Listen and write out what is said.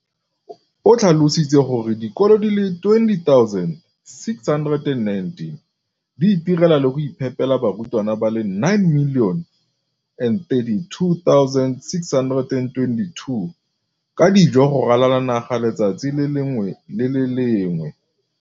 O tlhalositse gore dikolo di le 20 619 di itirela le go iphepela barutwana ba le 9 032 622 ka dijo go ralala naga letsatsi le lengwe le le lengwe.